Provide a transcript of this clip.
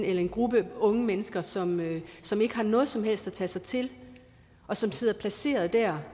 en gruppe unge mennesker som som ikke har noget som helst at tage sig til og som sidder placeret der